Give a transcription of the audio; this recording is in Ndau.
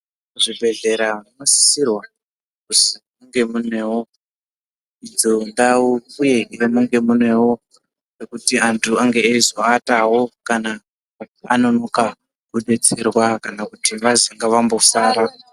Kuzvibhedhlera munosisirwa kuzi munge munevo idzondau, uye munge munevo pekuti antu angeeizoatavo kana anonoka kubetserwa kana kuti vazi ngavambosara.